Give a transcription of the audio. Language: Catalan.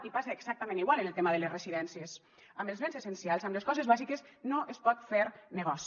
i passa exactament igual amb el tema de les residències amb els béns essencials amb les coses bàsiques no es pot fer negoci